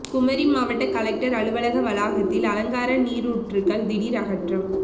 குமரி மாவட்ட கலெக்டர் அலுவலக வளாகத்தில் அலங்கார நீரூற்றுகள் திடீர் அகற்றம்